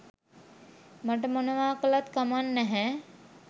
මට මොනවා කළත් කමක් නැහැ.